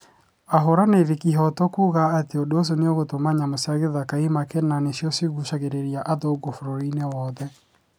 ahũranĩri ihoto kuga ati ũndũ ũcio nĩũgũtũma nyamũ cia githaka imake na nĩ cio igucagĩrĩria athũngũ bũrũri-inĩ wothe